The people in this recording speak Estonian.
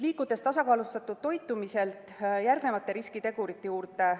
Liigume tasakaalustatud toitumisest järgmiste riskitegurite juurde.